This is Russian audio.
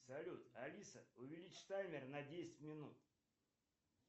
салют алиса увеличь таймер на десять минут